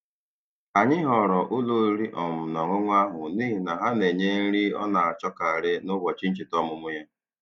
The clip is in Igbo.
Anyị họọrọ ụlọ oriri um na ọṅụṅụ ahụ n'ihi na ha na-enye nri ọ na-achọkarị n'ụbọchị ncheta ọmụmụ ya.